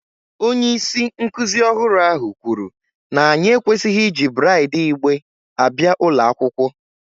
Onye isi nkuzi ọhụrụ ahụ kwuru na anyị ekwesịghị iji braid igbe abịa ụlọ akwụkwọ